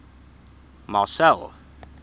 marcel